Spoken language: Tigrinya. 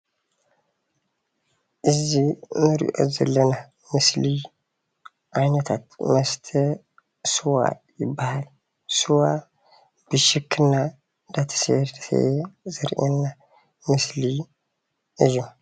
እዙይ እንሪኦ ዘለና ምስሊ ዓይነታት መስተ ሰዋ ይበሃል። ሰዋ ብሽክና እናተሰተየ ዘርእየና ምስሊ እዩ።